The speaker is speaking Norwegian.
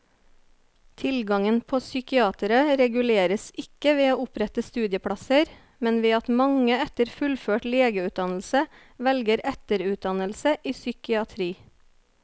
Tilgangen på psykiatere reguleres ikke ved å opprette studieplasser, men ved at mange etter fullført legeutdannelse velger etterutdannelse i psykiatri.